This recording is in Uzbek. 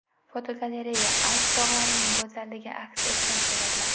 Fotogalereya: Alp tog‘larining go‘zalligi aks etgan suratlar.